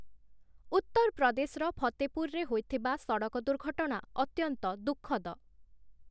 ଉତ୍ତରପ୍ରଦେଶର ଫତେପୁରରେ ହୋଇଥିବା ସଡ଼କ ଦୁର୍ଘଟଣା ଅତ୍ୟନ୍ତ ଦୁଃଖଦ ।